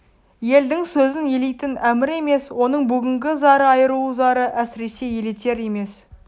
елдің сөзін елейтін әмір емес оның бүгінгі зары айрылу зары әсіресе елетер емес